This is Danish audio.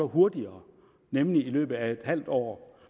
hurtigere nemlig i løbet af et halvt år